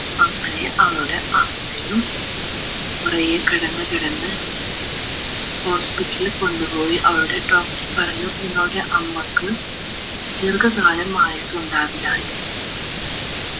അങ്ങനെ അവളുടെ അമ്മയും കുറെ കിടന്ന് കിടന്ന് hospital ൽ കൊണ്ടുപോയി അവളുടെ doctor പറഞ്ഞു നിങ്ങളുടെ അമ്മക്ക് ദീർഘകാലം ആയുസുണ്ടാവില്ലാന്ന്